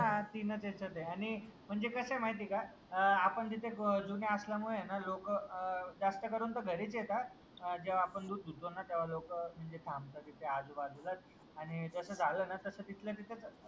हा तीनच याच्यात आहे आणि म्हणजे कसं आहे माहितीये का अह आपण तिथे जुने असल्यामुळे ना लोक अह जास्त करून तर घरीच येता अह जेव्हा आपण दूध धुतो ना तेव्हा लोक म्हणजे थांबता आजूबाजूला आणि तसं झालं ना तस तिथल्या तिथं